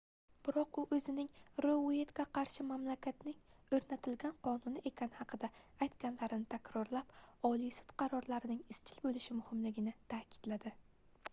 biroq u oʻzining rou ueytga qarshi mamlakatning oʻrnatilgan qonuni ekani haqida aytganlarini takrorlab oliy sud qarorlarining izchil boʻlishi muhimligini taʼkidladi